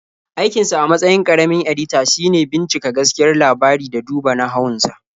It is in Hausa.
Aikinsa a matsayin ƙaramin-edita shine bincika gaskiyar labari da duba nahawun sa.